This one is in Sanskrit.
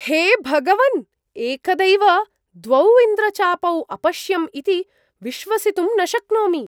हे भगवन्! एकदैव द्वौ इन्द्रचापौ अपश्यम् इति विश्वसितुं न शक्नोमि।